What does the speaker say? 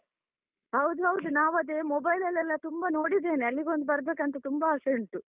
ಹೌದು ಹೌದು ನಾವು ಅದೇ mobile ಲೆಲ್ಲ ತುಂಬ ನೋಡಿದ್ದೇನೆ ಅಲ್ಲಿಗೊಂದು ಬರ್ಬೇಕಂತ ತುಂಬ ಆಸೆ ಉಂಟು.